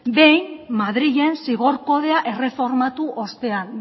behin madrilen zigor kodea erreformatu ostean